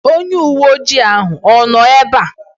Onye uwe ojii ahụ ọ nọ ebe ahụ?